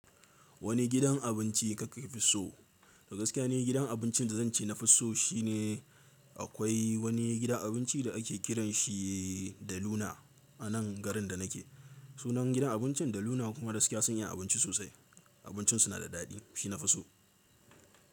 Wani gidan abinci kake fi so? Da gaskiya ne gidan abincin da zan ce na fi so shine akwai wani gidan abinci da ake kiranshi de Luna a nan garin da nake. Sunan gidan abincin de Luna kuma da gaskiya sun iya abinci sosai. Abincin suna da daɗi, shi na fi so.